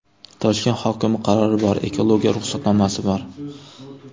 Toshkent hokimi qarori bor, ekologiya ruxsatnomasi bor.